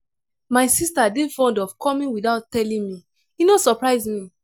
my sista dey fond of coming witout telling me e no surprise me.